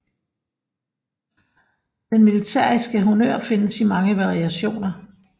Den militæriske honnør findes i mange variationer